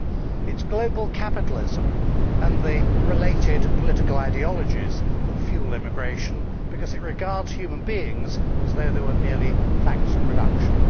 It is global capitalism and the related political ideologies that fuel immigration because it regards human beings as though they were merely facts of production.